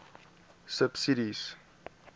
subsidies